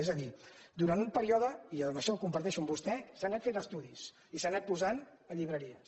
és a dir durant un període i això ho comparteixo amb vostè s’han anat fent estudis i s’han anat posant a llibreries